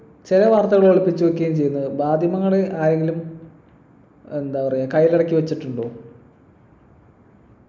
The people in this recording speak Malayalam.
ചില വാർത്തകൾ ഒളിപ്പിച്ചു വെക്കുകയും ചെയ്യുന്നത് മാധ്യമങ്ങളെ ആരെങ്കിലും എന്താ പറയാ കൈയിലടക്കി വച്ചിട്ടുണ്ടോ